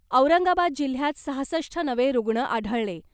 औरंगाबाद जिल्ह्यात सहासष्ट नवे रुग्ण आढळले .